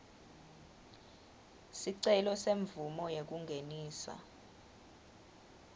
sicelo semvumo yekungenisa